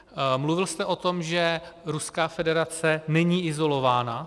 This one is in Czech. Mluvil jste o tom, že Ruská federace není izolována.